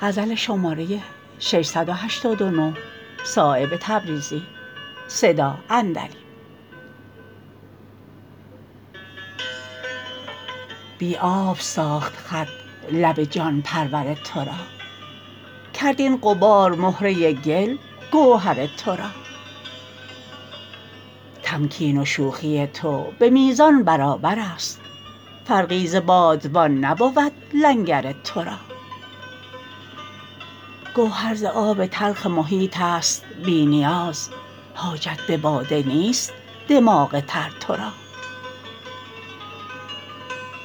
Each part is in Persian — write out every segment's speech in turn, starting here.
بی آب ساخت خط لب جان پرور ترا کرد این غبار مهره گل گوهر ترا تمکین و شوخی تو به میزان برابرست فرقی ز بادبان نبود لنگر ترا گوهر ز آب تلخ محیط است بی نیاز حاجت به باده نیست دماغ تر ترا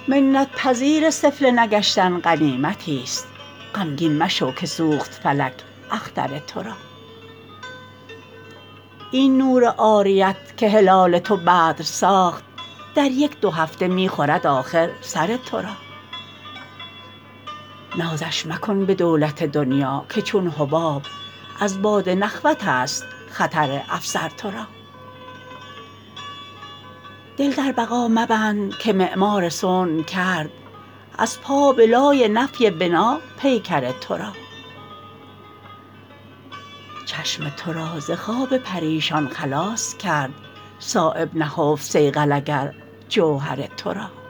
منت پذیر سفله نگشتن غنیمتی است غمگین مشو که سوخت فلک اختر ترا این نور عاریت که هلال تو بدر ساخت در یک دو هفته می خورد آخر سر ترا نازش مکن به دولت دنیا که چون حباب از باد نخوت است خطر افسر ترا دل در بقا مبند که معمار صنع کرد از پا به لای نفی بنا پیکر ترا چشم ترا ز خواب پریشان خلاص کرد صایب نهفت صیقل اگر جوهر ترا